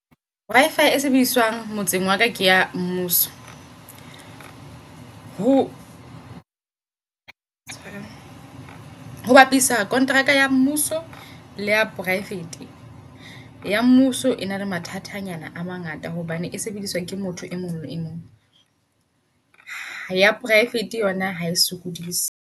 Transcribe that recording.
Wi-fi e sebediswang motseng wala ke ya mmuso. Ho ho bapisa kontraka ya mmuso le ya private. Ya mmuso e na le mathatanyana a mangata hobane e sebediswa ke motho e mong le e mong. Ya poraefete yona hae sokodise.